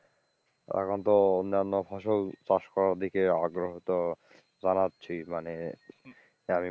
এখন তো অন্যান্য ফসল চাষ করার দিকে আগ্রহীতো জানাচ্ছি মানে যে আমি,